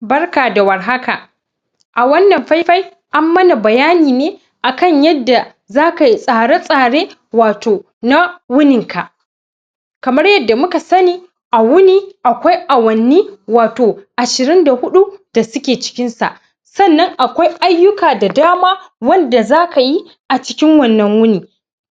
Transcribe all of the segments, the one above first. barka da war haka a wannan fai fai an mana bayani ne akan yadda zakayi tsare tsare wato na wunin ka kamar yadda muka sani a wuni akwai awanni wato ashirin da huɗu da suke cikin sa sannan akwai aiyuka da dama wanda zakayi a cikin wannan wuni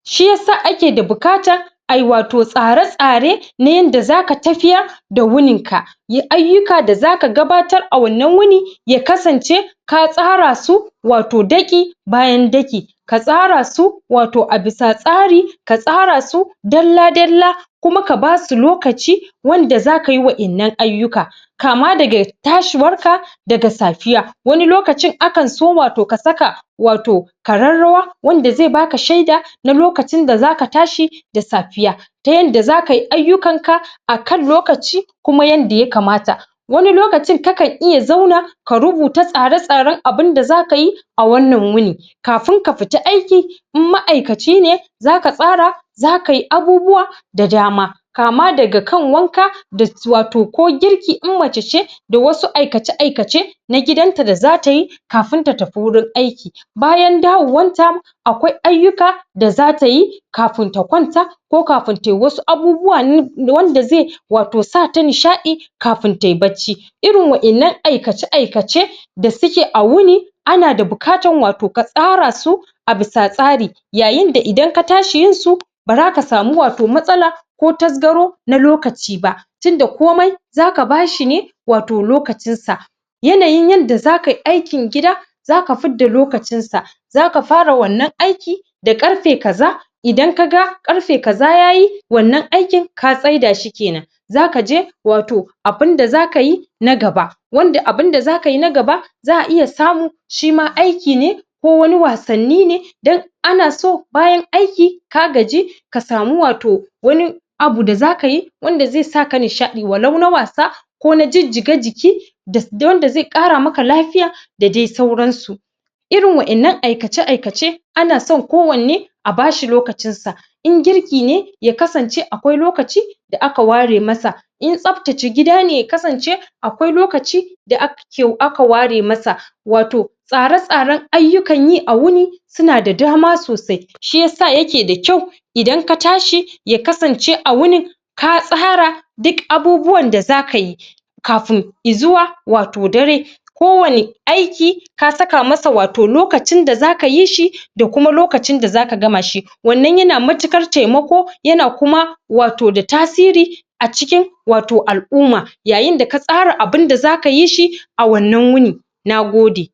shiyasa ake da buƙatan ayi wato tsare tsare na yanda zaka tafiyar da wunin ka aiyuka da zaka gabatar a wannan wuni ya kasance ka tsara su wato ɗaki bayan ɗaki ka tsara su wato a bisa tsari ka tsara su dalla dalla kuma ka basu lokaci wanda zakayi wa'ennan aiyuka amma daga tashi war ka daga tsafiya wani lokaci akan so wato ka saka wato kararrawa wanda zai baka sheda na lokacin da zka tashi da safiya ta yanda zakayi aiyukan ka a kan lokaci kuma yanda ya kamata wani lokacin ka kan iya zauna ka rubuta tsare tsaren abun da zakayi a wannan wuni kafun ka fita aiki in ma'aikaci ne zaka tsara zakayi abubuwa da dama kama daga kan wanka da wato ko girki in mace ce da wasu aikace aikace na gidan ta da zatayi kafun ta tafi wurin aiki bayan dawowan ta akwai aiyuka da zatayi kafun ta ƙwanta ko kafun tayi wasu abubuwa wanda zai wato sa ta nishaɗi kafun tayi bacci irin wa'ennan aikace aikace da suke a wuni ana da bukatan wato ka tsara su a bisa tsari yayin da idan ka tashi yin su baza ka samu wato matsala ko tasgaro na lokaci ba tunda komai zaka bashi ne wato lokacin sa yanayin yanda zakayi aikin gidan zaka fidda lokacin sa zaka fara wannan aiki da ƙarfe kaza idan ka ga ƙarfe kaza yayi wannan aikin ka tsaida shi kenan zakaje wato abunda zakayi na gaba wanda abun da zakayi na gaba za'a iya samu shima aiki ne ko wani wasanni ne dan anaso bayan aiki ka gaji ka samu wato wani abu da zakayi wanda zai sa ka nishaɗi wa lau na wasa ko na jijjiga jiki da wanda zai kara maka lafiya da dai sauran su irin wa'ennan aikace aikace ana son kowanne a bashi lokacin sa in girki ne ya kasance akwai lokaci da aka ware masa in tsaftace gida ne ya kasance akwai lokaci da aka ware masa wato tsare tsaren aiyukan yi a wuni suna da dama sosai shiyasa yake da kyau idan ka tashi ya kasance a wunin ka tsara ɗuk abubuwan da zakayi kafun zuwa dare ko wani aiki ka saka masa wato lokacin da zaka yi shi da kuma lokacin da zaka gama shi wannan yana matuƙar taimako yana kuma wato da tasiri a cikin wato al'umma yayin da ka tsara abun da zakayi shi a wannan wuni nagode